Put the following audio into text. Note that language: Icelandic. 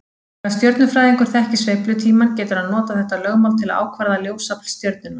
Þegar stjörnufræðingur þekkir sveiflutímann getur hann notað þetta lögmál til að ákvarða ljósafl stjörnunnar.